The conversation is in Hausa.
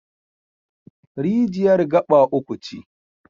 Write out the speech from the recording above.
Rijiyar gaɓa uku ce.